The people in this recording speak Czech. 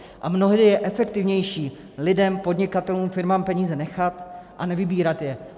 A mnohdy je efektivnější lidem, podnikatelům, firmám peníze nechat a nevybírat je.